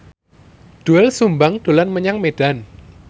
Doel Sumbang dolan menyang Medan